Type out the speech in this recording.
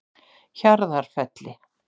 Hjarðarfelli